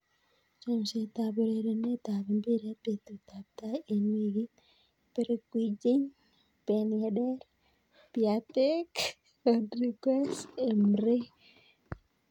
Chomset ab urerenet ab mbiret betut ab tai eng' wikit: Bergwijn, Ben Yedder, Piatek, Rodriguez, Emre